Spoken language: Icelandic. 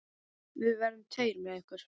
Við verðum tveir með ykkur.